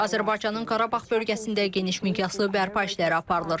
Azərbaycanın Qarabağ bölgəsində geniş miqyaslı bərpa işləri aparılır.